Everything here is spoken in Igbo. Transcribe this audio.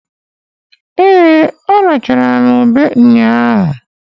Ee! A rachara m ube nnyaa.